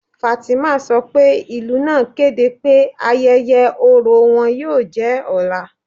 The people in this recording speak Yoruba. Fátímà sọ pé ilù naa kẹdẹ pẹ̀ ayẹyẹ̀ ọrọ̀ wọn yóò jẹ́ ọlá.